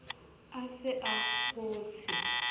a se a a kgotshe